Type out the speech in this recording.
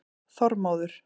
Þormóður